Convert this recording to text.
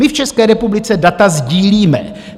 My v České republice data sdílíme.